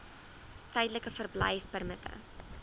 tydelike verblyfpermitte